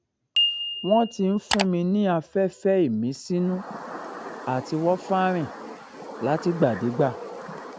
wọn ti ń fún mi ní afẹfẹ ìmísínú àti warfarin látìgbàdégbà